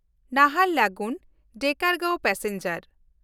ᱱᱟᱦᱟᱨᱞᱟᱜᱩᱱ–ᱰᱮᱠᱟᱨᱜᱟᱸᱶ passenger